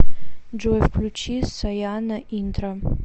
джой включи сояна интро